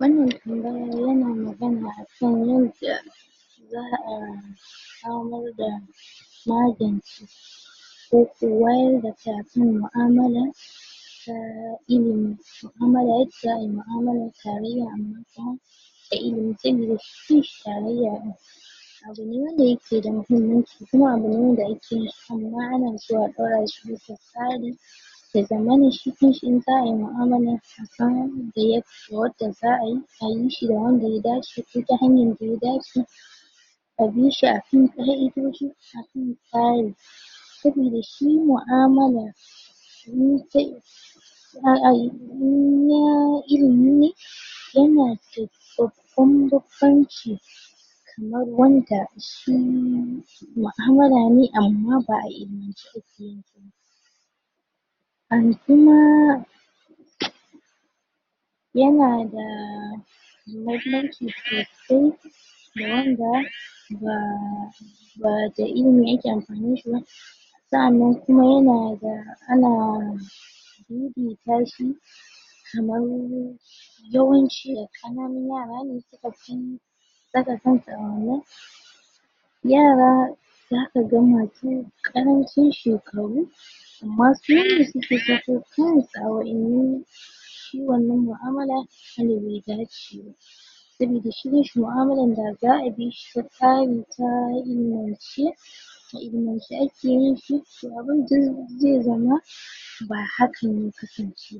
wanna tambaya yana magana akan yadnda za' za'a samarda magance koko wayar da shafi mu'amalan ta ilimi ma'amala za'a ayi ma'amalar tarayya a matsaya da ilimi tunda shi tarayya din abune wanda yake da mahimmanci kuma abune wanda ake tsammani za'a ɗaura shi bisa tsari ya zamana shi kanshi in za'a yi ma'amalan wanda za'ayi ayi shi da wanda ya dace ko ta hanyan da ya dace abishi a akan tsari saboda shi mu'amala za'a ayi inna ilimi ne yanada babban mutunci kamar wanda shi ma'amalane amma ba'a ilimance akeyin shiba um an kuma yanadaa mahimmanci sosai ga wanda baa bada ilimi yake anfani ba sa'anan um kuma yanada hana ririta shi kaman yawanci kananun yarane sukafi saka kansu a wanan yara zakaga masu karancin shekaru ammma sune suke saka kansu a waƴannan shi wannan ma'amala ilimi daji ne saboda shi ma'amalan da za'a bishii ta tsari kuma a ilimance a ilimance akeyin shi to abin dai zama ba hakan zai kasance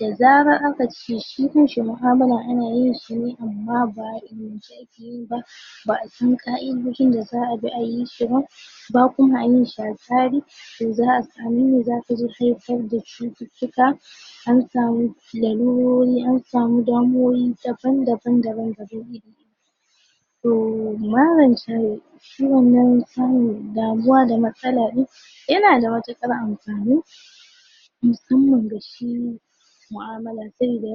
da zara akace shi kansi ma'amala anayin shi ne amma ba'a ilimance akeyi ba ba'abi ƙa'idoji da za'a bi ayi shi ba ba kuma ayin a tsari ta za'a sami nan ne zata haifar da cututtuka an samu lalurori ansamu damumwoyi daban daban da zi iya to maran tayi shi wanan samun damuwa da matsala din ina da mutuƙar anfani musamman ga shi mua'amala sai da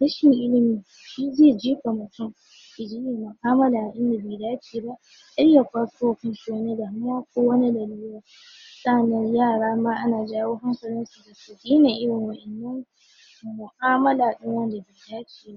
rashin ilimi shi zai jefa mutun yayi ma'amala da bai dace ba har ya kwaso ma kanshi wani damuwa ko wani laluri daman yarama ana jawo hankalin su su daina irin wayanan suyi mu'amala da wanda ya dace